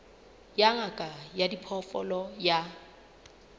ya ngaka ya diphoofolo ya